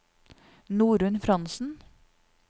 Norunn Frantzen